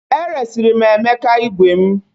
Eresirim Emeka ígwè m